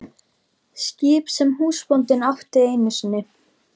Skip sem húsbóndinn átti einu sinni.